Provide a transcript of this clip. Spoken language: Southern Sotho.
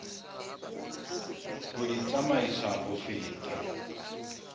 ho di tsamaisa ho feta